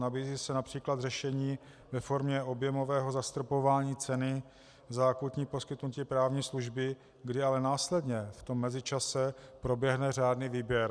Nabízí se například řešení ve formě objemového zastropování ceny za akutní poskytnutí právní služby, kdy ale následně v tom mezičase proběhne řádný výběr.